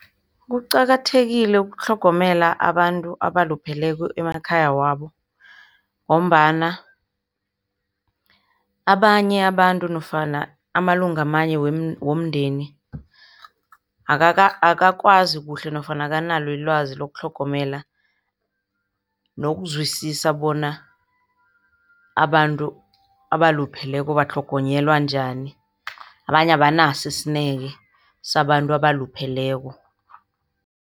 Kuqakathekile ukutlhogomela abantu abalupheleko emakhaya wabo ngombana abanye abantu nofana amalunga amanye womndeni akakwazi kuhle nofana akanalo ilwazi lokutlhogomela nokuzwisisa bona abantu abalupheleko batlhogonyelwa njani. Abanye abanaso isineke sabantu abalupheleko.